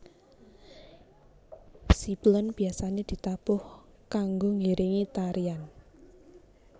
Ciblon biasane ditabuh kanggo ngiringi tarian